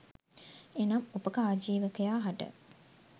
එනම් උපක ආජීවකයා හට